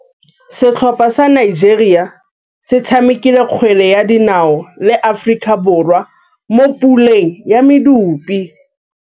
Setlhopha sa Nigeria se tshamekile kgwele ya dinaô le Aforika Borwa mo puleng ya medupe.